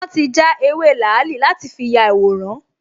Wọ́n ti já ewé làálì láti fi ya ìyàwòrán